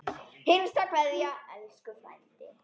HINSTA KVEÐJA Elsku frændi.